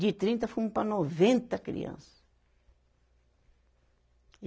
De trinta fomos para noventa criança. e